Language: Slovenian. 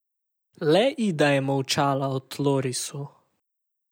Le Ida je molčala o tlorisu.